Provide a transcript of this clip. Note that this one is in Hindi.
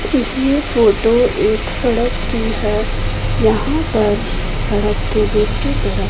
यह फोटो एक सड़क की है यहां पर सड़क के दूसरी तरफ--